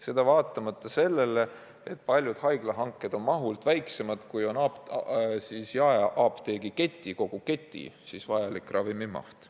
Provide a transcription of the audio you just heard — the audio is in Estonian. Seda vaatamata sellele, et paljud haiglahanked on mahult väiksemad kui jaeapteegi kogu keti vajalik ravimimaht.